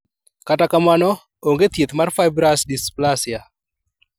Kata kamano, onge thieth ne Fibrous dysplasia